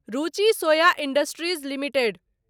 रुचि Soya industries limited